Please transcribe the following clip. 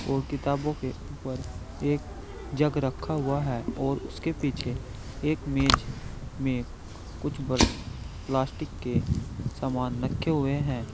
और किताबों के ऊपर एक जग रखा हुआ है और उसके पीछे एक मेज में कुछ बर् प्लास्टिक के सामान रखे हुए हैं।